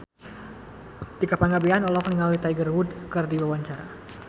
Tika Pangabean olohok ningali Tiger Wood keur diwawancara